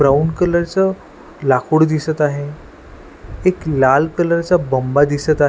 Brown colour च लाकूड दिसत आहे एक लाल कलर चा बंबा दिसत आहे.